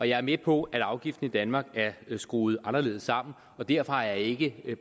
jeg er med på at afgiften i danmark er skruet anderledes sammen og derfor har jeg ikke